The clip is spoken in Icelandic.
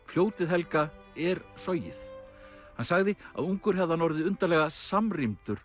fljótið helga er Sogið hann sagði að ungur hefði hann orðið undarlega